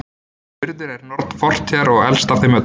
urður er norn fortíðar og elst af þeim öllum